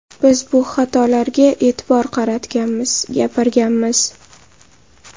Biz bu xatolarga e’tibor qaratganmiz, gapirganmiz.